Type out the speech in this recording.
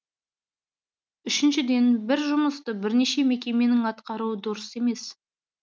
үшіншіден бір жұмысты бірнеше мекеменің атқаруы дұрыс емес